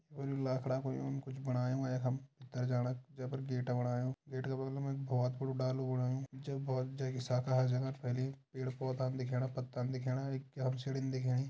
लखड़ा कु यून कुछ बणायूँ यखम गेट बणायूँ गेट का बगलम एक बहोत बड़ू डालू बणायूं जख बहोत जे की साखा हर जगह फैली पेड़ पौधा दिखेणा पत्ता दिखेणा एक सीढ़ी दिखेणी।